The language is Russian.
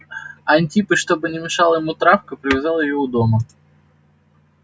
антипыч чтобы не мешала ему травка привязал её у дома